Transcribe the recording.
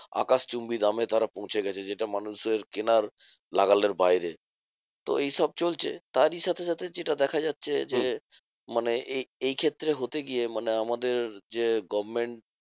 আকাশচুম্বী দামে তারা পৌঁছে গেছে, যেটা মানুষের কেনার নাগালের বাইরে। তো এইসব চলছে তারই সাথে সাথে যেটা দেখা যাচ্ছে যে, মানে এই এই ক্ষেত্রে হতে গিয়ে মানে আমাদের যে government